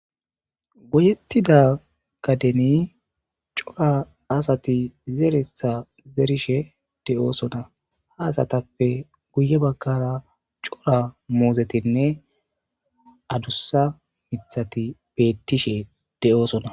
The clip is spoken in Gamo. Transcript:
Goyettida gadeni cora asati zeretha zerishe de'oosona haasatappe guye bakkara cora moozetinne adussa mithati beettishe de'oosona.